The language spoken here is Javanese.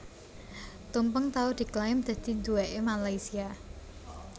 Tumpeng tau diklaim dadi duwèkké Malaysia